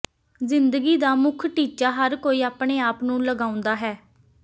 ਜ਼ਿੰਦਗੀ ਦਾ ਮੁੱਖ ਟੀਚਾ ਹਰ ਕੋਈ ਆਪਣੇ ਆਪ ਨੂੰ ਲਗਾਉਂਦਾ ਹੈ